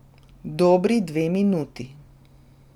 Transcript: Dobri dve minuti.